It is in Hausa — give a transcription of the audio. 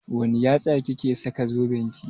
Wanne yatsa kike saka zoben ki?